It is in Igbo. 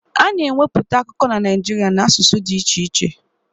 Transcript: A na-ewepụta akụkọ na Naịjirịa n'asụsụ dị iche iche